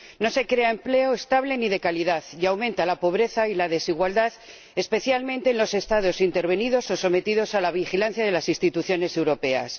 No se crea empleo estable ni de calidad y aumenta la pobreza y la desigualdad, especialmente en los Estados intervenidos o sometidos a la vigilancia de las instituciones europeas.